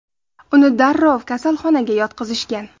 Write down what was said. Uni darrov kasalxonaga yotqizishgan.